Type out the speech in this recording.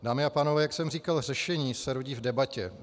Dámy a pánové, jak jsem říkal, řešení se rodí v debatě.